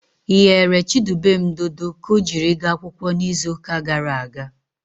Ị ghere Chidubem dodo ọ jiri gaa akwụkwọ n'izuụka gara aga?